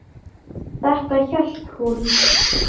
Þetta hélt hún.